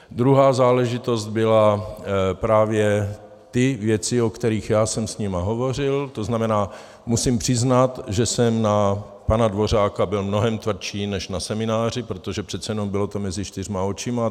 Druhá záležitost byly právě ty věci, o kterých já jsem s nimi hovořil, to znamená, musím přiznat, že jsem na pana Dvořáka byl mnohem tvrdší než na semináři, protože přece jenom bylo to mezi čtyřmi očima.